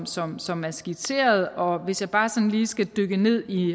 som som er skitseret og hvis jeg bare sådan lige skal dykke ned i